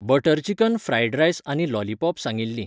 Butter chicken, fried rice आनी lollipop सांगिल्लीं.